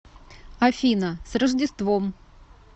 афина с рождеством